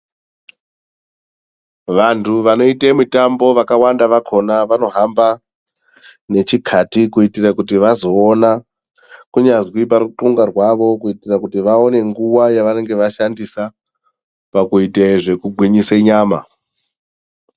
Vantu vanoite mitambo vaka wanda vakona vano hamba ne chikati kuitire kuti vazoona kunyazwi paru punga rwavo kuitira kuti vaone nguva yavanenge vashandisa paku gwinyisa nyama.